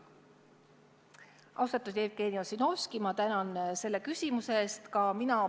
Austatud Jevgeni Ossinovski, ma tänan selle küsimuse eest!